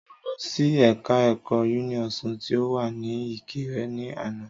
Mo lọ sí ẹ̀ka ẹ̀kọ́ Uniosun tí o wa ni ìkirè ni àná